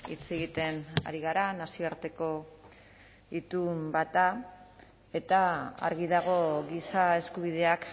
hitz egiten ari gara nazioarteko itun bat da eta argi dago giza eskubideak